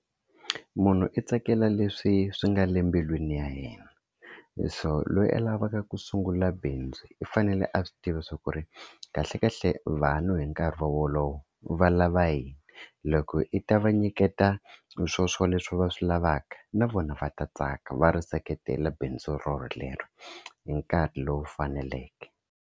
Munhu i tsakela leswi swi nga le embilwini ya yena, so loyi a lavaka ku sungula bindzu i fanele a swi tiva swa ku ri kahlekahle vanhu hi nkarhi wolowo va lava yini loko i ta va nyiketa swoswoleswo va swi lavaka na vona va ta tsaka va ri seketela bindzu rorolero hi nkarhi lowu faneleke.